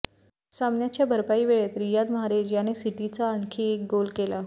सामन्याच्या भरपाई वेळेत रियाद माऱ्हेज याने सिटीचा आणखी एक गोल केला